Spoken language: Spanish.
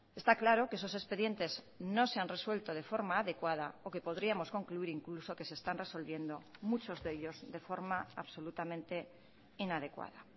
está claro que esos expedientes no se han resuelto de forma adecuada o que podríamos concluir incluso que se están resolviendo muchos de ellos de forma absolutamente inadecuada